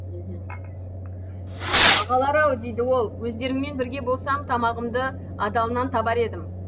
ағалар ау дейді ол өздеріңмен бірге болсам тамағымды адалынан табар едім